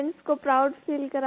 parents को proud feel